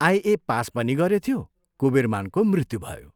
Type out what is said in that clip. आइए pass पनि गरेथ्यो, कुबीरमानको मृत्यु भयो।